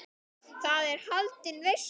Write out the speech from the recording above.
Þar er haldin veisla.